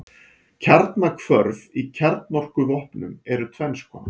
Kjarnahvörf í kjarnorkuvopnum eru tvenns konar.